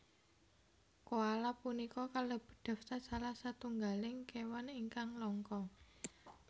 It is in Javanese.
Koala punika kalebet daftar salah setunggaling kéwan ingkang langka